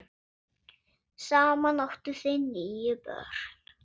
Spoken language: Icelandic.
Saman áttu þau níu börn.